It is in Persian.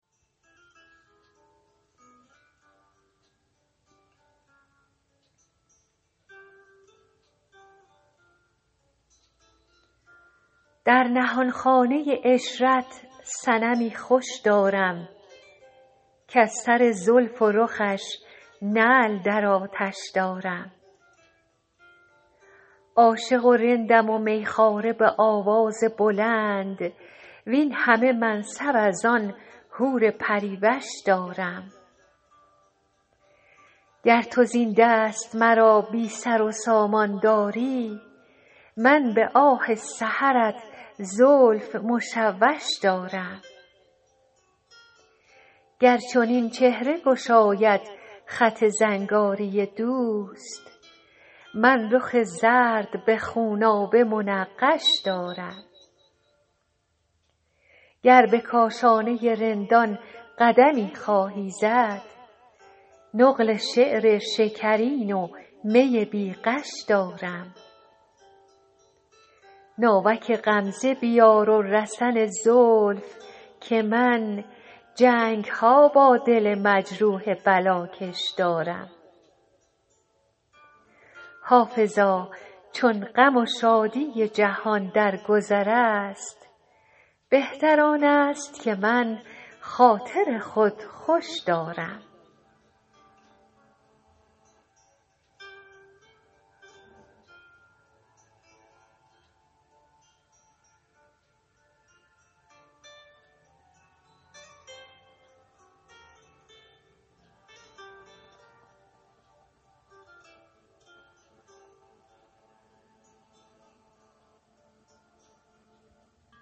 در نهانخانه عشرت صنمی خوش دارم کز سر زلف و رخش نعل در آتش دارم عاشق و رندم و می خواره به آواز بلند وین همه منصب از آن حور پری وش دارم گر تو زین دست مرا بی سر و سامان داری من به آه سحرت زلف مشوش دارم گر چنین چهره گشاید خط زنگاری دوست من رخ زرد به خونابه منقش دارم گر به کاشانه رندان قدمی خواهی زد نقل شعر شکرین و می بی غش دارم ناوک غمزه بیار و رسن زلف که من جنگ ها با دل مجروح بلاکش دارم حافظا چون غم و شادی جهان در گذر است بهتر آن است که من خاطر خود خوش دارم